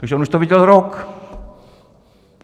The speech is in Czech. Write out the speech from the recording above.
Takže on už to věděl rok.